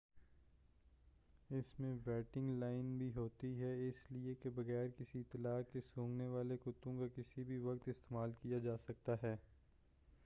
اس میں waiting line بھی ہوتی ہے اس لئے کہ بغیر کسی اطلاع کے سونگھنے والے کتوں کا کسی بھی وقت استعمال کیا جاسکتا ہے